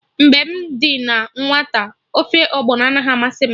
Mgbe m dị na nwata, ofe Ọgbọnọ anaghị amasị m